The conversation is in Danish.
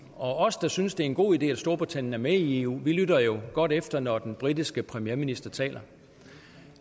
os der synes at det er en god idé at storbritannien er med i eu lytter jo godt efter når den britiske premierminister taler